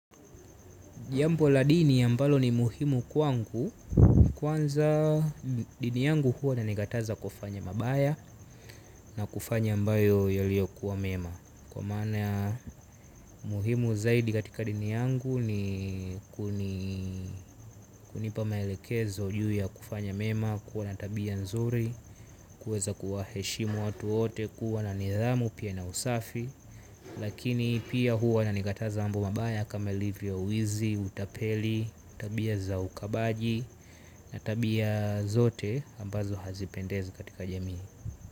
Jambo la dini ambalo ni muhimu kwangu kwanza dini yangu huwa ina nikataza kufanya mabaya na kufanya ambayo yaliyo kuwa mema. Kwa mana muhimu zaidi katika dini yangu ni kunipa maelekezo juu ya kufanya mema kuwa na tabia nzuri. Kuweza kuwa heshimu watu wote kuwa na nidhamu pia na usafi. Lakini pia huwa na nigataza ambu mabaya kama livio uizi, utapeli, utabia za ukabaji. Na tabia zote ambazo hazipendezi katika jamii.